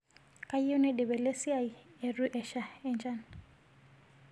Kayieu naidip ele siai eitu esha nchan